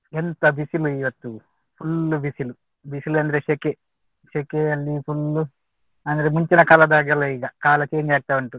ಎಂತ ಬಿಸಿಲು ಇವತ್ತು full ಬಿಸಿಲು ಬಿಸಿಲು ಅಂದ್ರೆ ಸೆಕೆ ಸೆಕೆಯಲ್ಲಿ full ಅಂದ್ರೆ ಮುಂಚಿನ ಕಾಲದ ಹಾಗೆ ಅಲ್ಲ ಈಗ ಕಾಲ change ಆಗ್ತಾ ಉಂಟು.